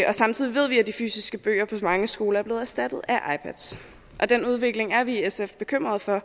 og samtidig ved vi at de fysiske bøger på mange skoler er blevet erstattet af ipads den udvikling er vi i sf bekymret for